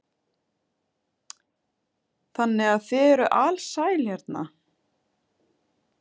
Þannig að þið eruð alsæl hérna?